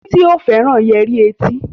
Titi o féràn Yẹrí tí.